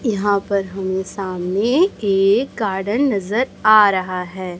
यहां पर हमें सामने एक गार्डन नजर आ रहा है।